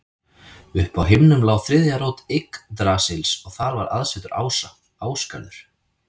Uppi á himnum lá þriðja rót Yggdrasils og þar var aðsetur ása, Ásgarður.